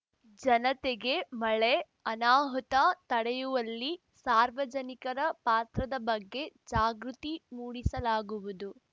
ಜನತೆಗೆ ಮಳೆ ಅನಾಹುತ ತಡೆಯುವಲ್ಲಿ ಸಾರ್ವಜನಿಕರ ಪಾತ್ರದ ಬಗ್ಗೆ ಜಾಗೃತಿ ಮೂಡಿಸಲಾಗುವುದು